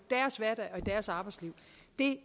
deres arbejdsliv